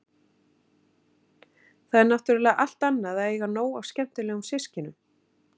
Það er náttúrlega allt annað að eiga nóg af skemmtilegum systkinum.